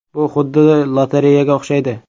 “Bu xuddi lotereyaga o‘xshaydi.